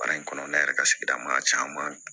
Baara in kɔnɔna yɛrɛ ka sigida maa caman